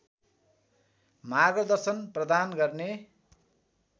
मार्गदर्शन प्रदान गर्ने